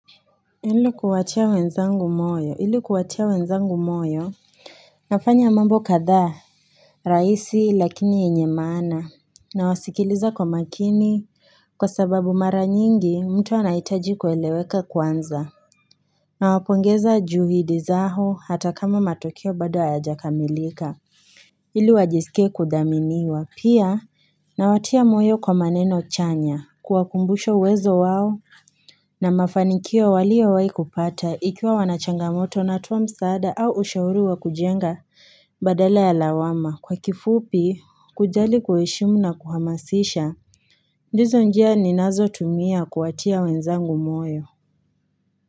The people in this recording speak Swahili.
Ili kuwatia wenzangu moyo ili kuwatia wenzangu moyo nafanya mambo kadhaa rahisi lakini yenye maana nawasikiliza kwa makini kwa sababu mara nyingi mtu anahitaji kueleweka kwanza nawapongeza juhudi zao hata kama matokeo bado hayajakamilika ili wajisike kudhaminiwa pia nawatia moyo kwa maneno chanya kuwakumbusha uwezo wao na mafanikio waliowahi kupata ikiwa wana changamoto natoa msaada au ushauri wa kujenga badala ya lawama. Kwa kifupi, kujali kueshimu na kuhamasisha, ndizo njia ninazotumia kuwatia wenzangu moyo.